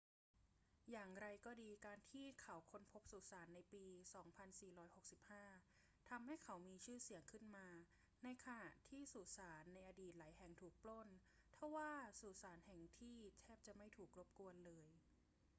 อย่างไรก็ดี การที่เขาค้นพบสุสานในปี 2465 ทำให้เขามีชื่อเสียงขึ้นมา ในขณะที่สุสานในอดีตหลายแห่งถูกปล้น ทว่าสุสานแห่งที่แทบจะไม่ถูกรบกวนเลย